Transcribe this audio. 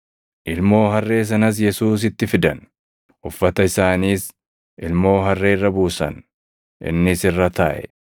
Ilmoo harree sanas Yesuusitti fidan; uffata isaaniis ilmoo harree irra buusan; innis irra taaʼe.